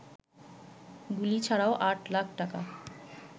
গুলি ছাড়াও ৮ লাখ টাকা